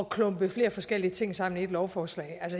klumpe flere forskellige ting sammen i et lovforslag